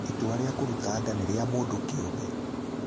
Itua rĩa kũruta nda nĩ rĩa mũndũ kĩũmbe.